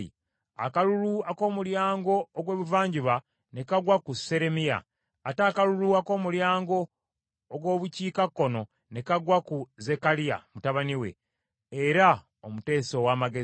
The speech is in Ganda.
Akalulu ak’Omulyango ogw’Ebuvanjuba ne kagwa ku Seremiya. Ate akalulu ak’Omulyango ogw’Obukiikakkono, ne kagwa ku Zekkaliya mutabani we, era omuteesa ow’amagezi.